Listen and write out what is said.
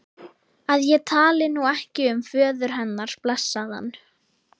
að ég tali nú ekki um föður hennar, blessaðan.